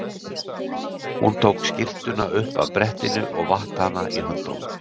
Hún tók skyrtuna upp af brettinu og vatt hana í höndunum.